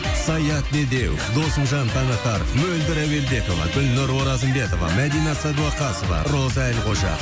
саят медеу досымжан таңатаров мөлдір әуелбекова гүлнұр оразымбетова мәдина садуақасова роза әлқожа